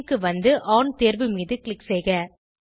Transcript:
spin க்கு வந்து ஒன் தேர்வு மீது க்ளிக் செய்க